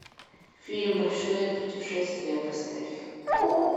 фильм большое путешествие поставь